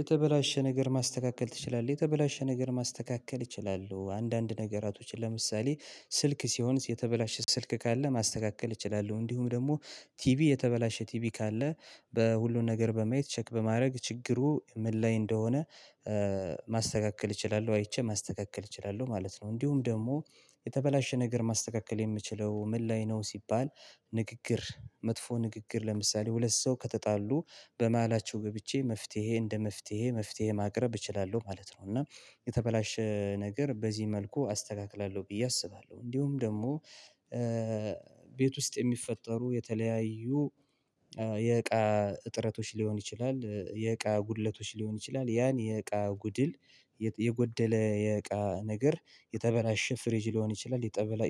የተበላሻ ነገር ማስተካከል ትችላለህ? የተበላሻ ነገር ማስተካከል እችላሉ አንዳንድ ነገራቶችን ለምሳሌ ስልክ ሲሆን የተበላሻ ስልክ ካለ ማስተካከል እችላለሁ እንዲሁም ደግሞ ቲቪ የተበላሻ ቲቪ ካለ በሁሉም ነገር በማየት ቼክ በማድረግ ችግሩ ምን ላይ እንደሆነ ማስተካከል እችላለሁ አይቼ ማስተካከል እችላለሁ ማለት ነው። እንዲሁም ደግሞ የተበላሻ ነገር ማስተካከል የምችለው ምን ላይ ነው ሲባል ንግግር መጥፎ ንግግር ለምሳሌ ሁለት ሰው ከተጣሉ በመሃላቸው ገብቼ መፍትሄ እንዴ መፍትሄ መፍትሄ ማቅረብ እችላለሁ ማለት ነው። እና የተበላሻ ነገር በዚህ መልኩ አስተካክላለሁ ብዬ አስባለሁ። እንዲሁም ደግሞ ቤት ውስጥ የሚፈጠሩ የተለያዩ የእቃ እጥረቶች ሊሆን ይችላል የእቃ ጉድለቶች ሊሆን ይችላል። ያን የእቃ ጉድል የጎደለ የእቃ ነገር የተበላሻ ፍሬጅ ሊሆን ይችላል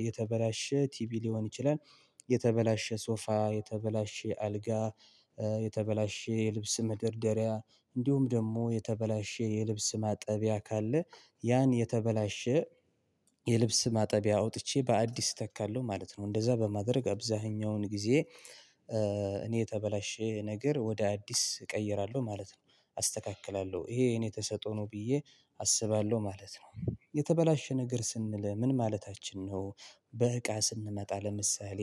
የተበላሻ ቲቪ ሊሆን ይችላል። የተበላሻ ሶፋ የተበላሻ አልጋ የተበላሻ የልብስ መደርደሪያ እንዲሁም ደግሞ የተበላሻ የልብስ ማጠቢያ ካለ ያን የተበላሻ የልብስ ማጠቢያ አውጥቼ በአዲስ እተከለሁ ማለት ነው። እንደዛ በማድረግ አብዛኛውን ጊዜ እኔ የተበላሻ ነገር ወደ አዲስ እቀይራለሁ ማለት ነው አስተካክላለሁ ይሄ የእኔ ተሰጦ ነው ብዬ አስባለሁ ማለት ነው። የተበላሻ ነገር ስንል ምን ማለታችን ነው? በእቃ ስንመጣ ለምሳሌ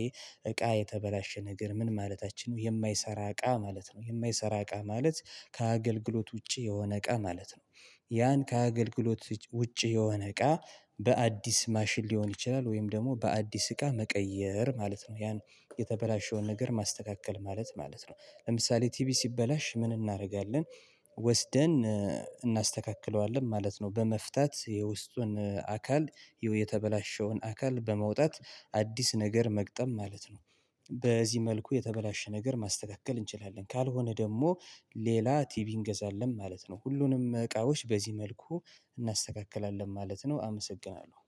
እቃ የተበላሻ ነገር ምን ማለታችን ነው የማይሰራ እቃ ማለት ነው። የማይሰራው እቃ ማለት ከአገልግሎት ውቺ የሆነ እቃ ማለት ነው። ያን ከአገልግሎት ውቺ የሆነ እቃ በአዲስ ማሽን ሊሆን ይችላል ወይም ደግሞ በአዲስ እቃ መቀየር ማለት ነው። ያን የተበላሻውን ነገር ማስተካከል ማለት ማለት ነው ለምሳሌ ቲቪ ሲበላሽ ምን እናደርጋለን? ወስደን አናስተካክለዋለን ማለት ነው በመፍታት የውስጡን አካል የተበላሻውን አካል በመውጣት አዲስ ነገር መግጠም ማለት ነው። በዚህ መልኩ የተበላሻ ነገር ማስተካከል እንችላለን ካልሆነ ደግሞ ሌላ ቲቪ እንገዛለን ማለት ነው። ሁሉንም እቃዎች በዚህ መልኩ እናስተካክላለን ማለት ነው። አመሰግናለሁ